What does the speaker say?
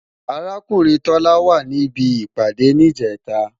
Arákùnrin Tọ́lá wà ní ibi ìpàdé ní Ìjẹ́ta